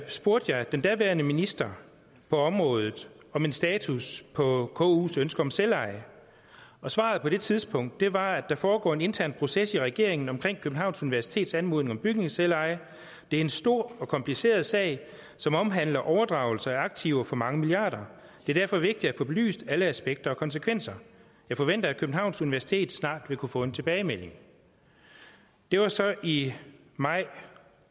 spurgte jeg den daværende minister på området om en status på kus ønske om selveje og svaret på det tidspunkt var der foregår en intern proces i regeringen omkring københavns universitets anmodning om bygningsselveje det er en stor og kompliceret sag som omhandler overdragelse af aktiver for mange milliarder det er derfor vigtigt at få belyst alle aspekter og konsekvenser jeg forventer at københavns universitet snart vil kunne få en tilbagemelding det var så i maj